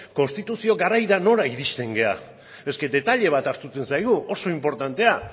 konstituzio garaira nola iristen gera eske detaile bat ahazten zaigu oso inportantea